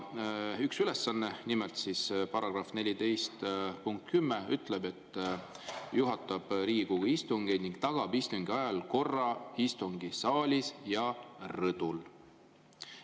Üks ülesanne, nimelt § 14 punkt 10 ütleb: "juhatab Riigikogu istungeid ning tagab istungi ajal korra istungisaalis ja rõdudel".